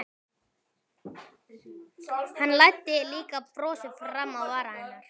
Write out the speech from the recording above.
Hann læddi líka brosi fram á varirnar.